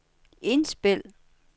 indspil